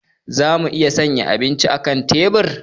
Za mu iya sanya abincinmu a kan tebur.